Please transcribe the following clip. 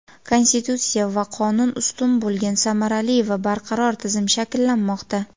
Konstitutsiya va qonun ustun bo‘lgan samarali va barqaror tizim shakllanmoqda.